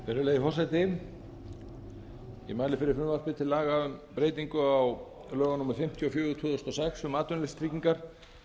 virðulegi forseti ég mæli fyrir frumvarpi til laga um breytingu á lögum númer fimmtíu og fjögur tvö þúsund og sex um atvinnuleysistryggingar